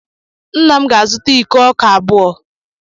Nna m ga-azụta iko ọka abụọ.